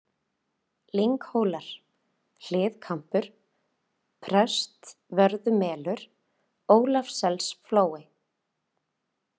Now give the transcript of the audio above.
Lynghólar, Hliðkambur, Prestvörðumelur, Ólafsselsflói